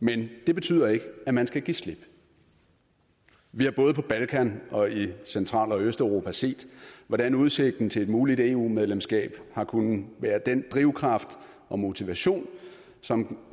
men det betyder ikke at man skal give slip vi har både på balkan og i central og østeuropa set hvordan udsigten til et muligt eu medlemskab har kunnet være den drivkraft og motivation som